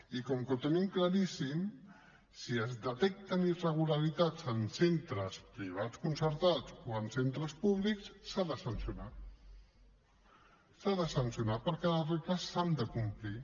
i com que ho tenim claríssim si es detecten irregularitats en centres privats concertats o en centres públics s’ha de sancionar s’ha de sancionar perquè les regles s’han de complir